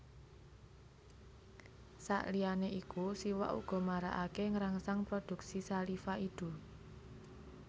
Sakliyané iku siwak uga marakaké ngrangsang produksi saliva idu